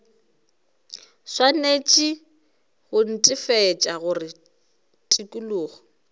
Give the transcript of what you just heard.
swanetše go netefatša gore tikologo